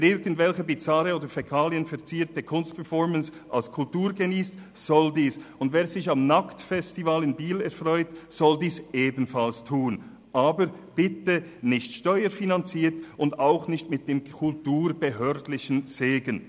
Wer irgendwelche bizarre oder fäkalienverzierte Kunstperformances als Kultur geniessen will, soll dies tun, und wer sich am Nacktfestival in Biel erfreut, soll dies ebenfalls tun, aber bitte nicht steuerfinanziert und auch nicht mit kulturbehördlichem Segen.